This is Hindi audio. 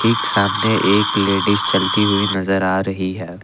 एक सामने एक लेडिस चलती हुई नजर आ रही है।